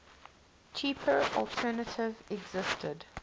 cheaper alternative existed